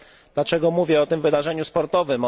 Dlaczego mówię o tym wydarzeniu sportowym?